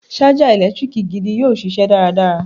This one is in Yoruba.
Ṣájà ẹ̀lẹ́tíríkì gidi yóò ṣiṣẹ́ dáradára.